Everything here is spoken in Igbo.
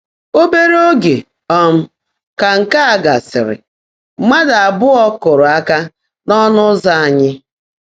“Óbèré óge um kà nkè á gásị́rị́, mmádụ́ abụọ́ kụ́ụ́rụ́ áká n’ọ́ńụ́ ụ́zọ́ ányị́.